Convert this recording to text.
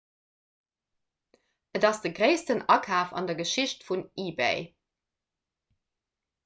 et ass de gréissten akaf an der geschicht vun ebay